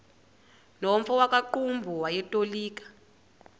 nomfo wakuqumbu owayetolika